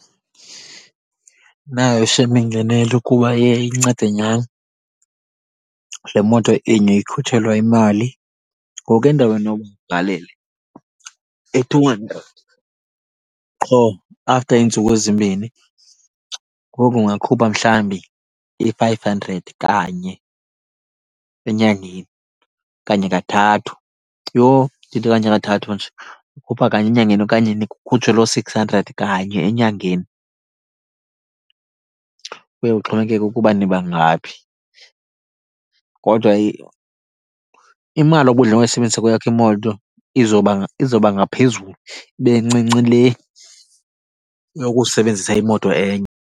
Inayo shem ingenelo kuba iye incede nyani. Le moto inye ikhutshelwa imali, ngoku endaweni yoba ugalele i-two hundred qho after iintsuku ezimbini, ngoku ungakhupha mhlawumbi i-five hundred kanye enyangeni okanye kathathu. Yho, ndithi okanye kathathu nje, ukhupha kanye enyangeni okanye kukhutshwe loo six hundred kanye enyangeni, kuye kuxhomekeke ukuba niba ngaphi. Kodwa imali obudla ngoyisebenzisa kweyakho imoto izoba , izoba ngaphezulu, ibe ncinci le yokusebenzisa imoto enye.